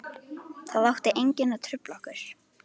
Það átti enginn að trufla okkur.